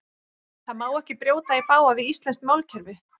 Það má ekki brjóta í bága við íslenskt málkerfi.